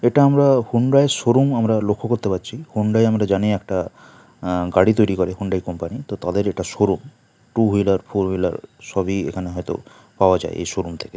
এটা আমরা Hyundai showroom আমার লক্ষ্য করতে পাচ্ছি হোন্ডাই আমরা জানি একটা অ্যা গাড়ি তৈরি করে হোন্ডা কোম্পানি তো তাদের এটা showroom two wheeler four wheeler সবই এখানে হয় তো পাওয়া যায় এ শোরুম থেকে।